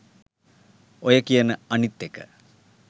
ඔය කියන අනිත් එක